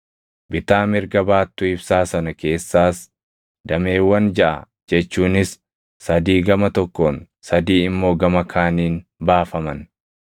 Bitaa mirga baattuu ibsaa sana keessaas dameewwan jaʼa jechuunis sadii gama tokkoon sadii immoo gama kaaniin baafaman.